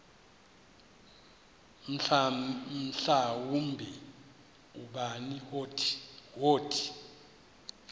mhlawumbi ubani wothi